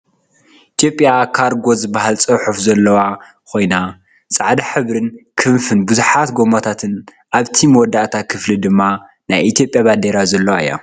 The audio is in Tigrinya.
ኢትዮጵያ ካርጎ ዝብል ፅሑፍ ዘለዎ ኮይና ፃዕዳ ሕብሪን ክንፍን ብዙሓት ጎማታትን ኣብቲ መወዳእታ ክፍሊ ድማ ናይ ኢትዮጵያ ባንዴራ ዘለዎ እያ።